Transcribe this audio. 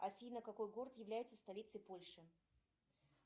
афина какой город является столицей польши